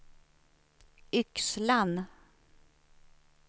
Yxlan